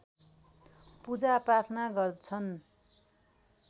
पूजा प्रार्थना गर्दछन्